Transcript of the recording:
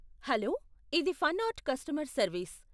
Hello, ఇది Fun Art customer service.